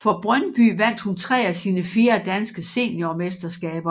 For Brøndby vandt hun tre af sine fire danske seniormesterskaber